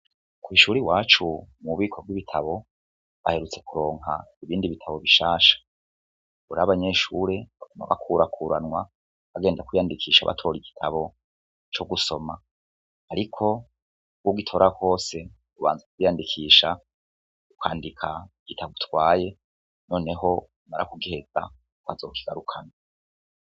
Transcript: Kw'ishuri iwacu mu mubiko rw'ibitabo baherutse kuronka ibindi bitabo bishasha buri abanyeshure ma bakurakuranwa bagenda kwiyandikisha batora igitabo co gusoma, ariko ugitora kwose ubanza kwiyandikisha ukwandika gitabo utwaye noneho marakugeza ko azokigarukana.